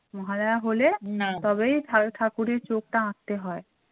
মহালয়া হলে তবেই ঠাকুরের চোখটা হয়ে আঁকতে হয়।